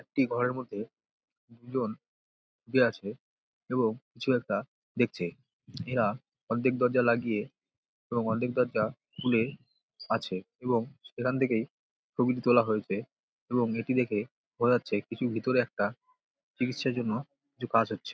একটি ঘরের মধ্যে তিনজন আছে এবং কিছু একটা দেখচ্ছে | এঁরা অর্ধেক দরজা লাগিয়ে এবং অর্ধেক দরজা খুলে আছে | এবং সেখান থেকে ছবিটি তোলা হয়েছে | এবং এটি দেখে বোঝা যাচ্ছে কিছু ভিতরে একটা চিকিৎসার জন্য কিছু কাজ হচ্ছে |.